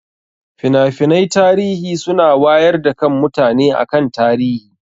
Finafinai tarihi suna wayar da kan mutane akan tarihi